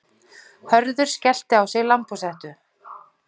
Hörður skellti á sig lambhúshettu.